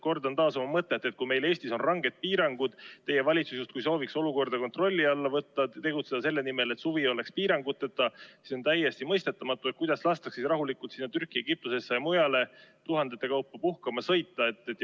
Kordan taas oma mõtet, et kui meil Eestis on ranged piirangud, kui teie valitsus soovib olukorda kontrolli alla võtta, tegutseda selle nimel, et suvi oleks piiranguteta, siis on täiesti mõistetamatu, kuidas lastakse rahulikult Türki, Egiptusesse ja mujale tuhandete kaupa puhkama sõita.